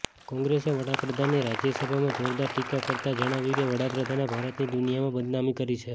કોંગ્રેસે વડાપ્રધાનની રાજ્યસભામાં જોરદાર ટીકા કરતા જણાવ્યું કે વડાપ્રધાને ભારતની દુનિયામાં બદનામી કરી છે